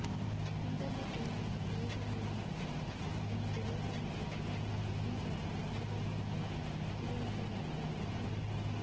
internet ಬಳಕೆಯಿಂದ ಪ್ರಯೋಜನವೇನು ಎಂದು ತಿಳಿಯುತ್ತಾ ಹೋದರೆ ಬಹುಶಃ ಈ ಜನ್ಮ ಸಾಲದು ಅಂತ ಟೆಕ್ ತಿಳುವಳಿಕೆಗಾರರು ಹೇಳುತ್ತಾರೆ